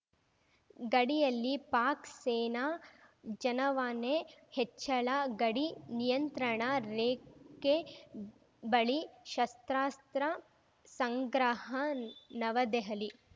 ಗಡಿಯಲ್ಲಿ ಪಾಕ್‌ ಸೇನಾ ಜನವಾಣೆ ಹೆಚ್ಚಳ ಗಡಿ ನಿಯಂತ್ರಣ ರೇಖೆ ಬಳಿ ಶಸ್ತ್ರಾಸ್ತ್ರ ಸಂಗ್ರಹ ನವದೆಹಲಿ